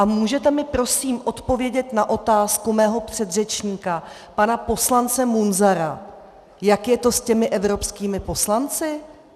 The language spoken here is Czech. A můžete mi prosím odpovědět na otázku mého předřečníka pana poslance Munzara, jak je to s těmi evropskými poslanci?